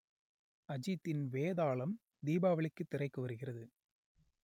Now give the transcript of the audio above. அஜித்தின் வேதாளம் தீபாவளிக்கு திரைக்கு வருகிறது